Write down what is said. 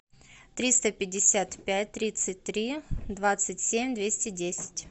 триста пятьдесят пять тридцать три двадцать семь двести десять